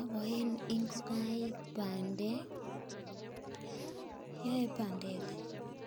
Aboen ngokaik bandek, yoe bandek